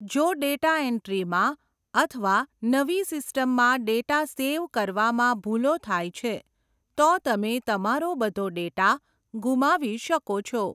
જો ડેટા એન્ટ્રીમાં અથવા નવી સિસ્ટમમાં ડેટા સેવ કરવામાં ભૂલો થાય છે, તો તમે તમારો બધો ડેટા ગુમાવી શકો છો.